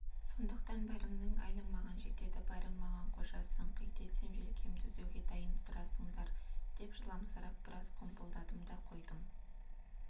сондықтан бәріңнің әлің маған жетеді бәрің маған қожасың қит етсем желкемді үзуге дайын тұрасыңдар деп жыламсырап біраз қомпылдадым да қойдым